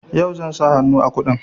Yau zan sa hannu a kundin.